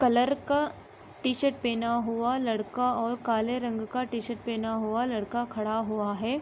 Colour का T-shirt पहना हुआ लड़का और काले रंग का टी-शर्ट पहना हुआ लड़का खड़ा हुआ है।